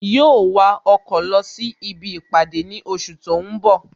Yóó wa ọkọ̀ lọ sí ibi ìpàdé ní oṣù tó ń bọ̀